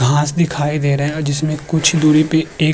घास दिखाई दे रहे हैं जिसमें कुछ दूरी पे एक --